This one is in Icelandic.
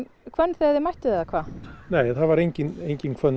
hvönn þegar þið mættuð eða hvað nei hér var engin engin hvönn